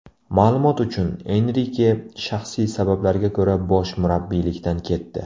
Ma’lumot uchun, Enrike shaxsiy sabablarga ko‘ra bosh murabbiylikdan ketdi.